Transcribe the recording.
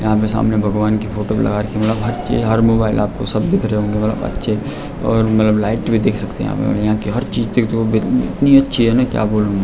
यहाँ सामने भगवान की फोटो भी लगा रखी है मलब हर चीज हर मोबाइल आपको सब दिख रहे होंगे मलब अच्छे और मलब लाइट भी देख सकते यहाँ पे यहाँ की हर चीज इतनी अच्छी है न क्या बोलू मैं।